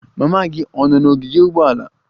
Mama gị ọ̀ nọ n'ogige ụgbọala?